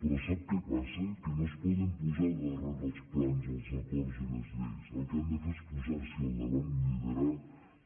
però sap què passa que no es poden posar darrere els plans els acords i les lleis el que han de fer és posar s’hi al davant i liderar